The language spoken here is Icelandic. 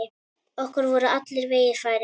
Okkur voru allir vegir færir.